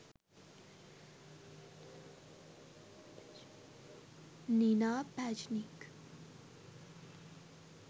nina pajnič